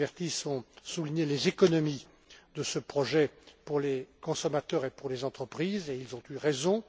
et M. Silvestris ont souligné les économies de ce projet pour les consommateurs et pour les entreprises et ils ont eu